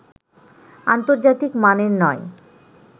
আন্তর্জাতিক মানের নয়